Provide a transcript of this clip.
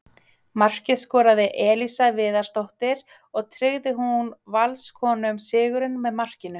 Markið skoraði Elísa Viðarsdóttir og tryggði hún Valskonum sigurinn með markinu.